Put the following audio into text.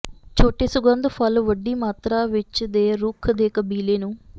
ਛੋਟੇ ਸੁਗੰਧ ਫੁੱਲ ਵੱਡੀ ਮਾਤਰਾ ਵਿੱਚ ਦੇ ਰੁੱਖ ਦੇ ਕਬੀਲੇ ਨੂੰ